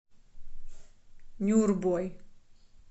нюрбой